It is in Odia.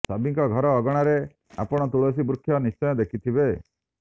ସଭିଁଙ୍କ ଘର ଅଗଣାରେ ଆପଣ ତୁଳସୀ ବୃକ୍ଷ ନିଶ୍ଚୟ ଦେଖିଥିବେ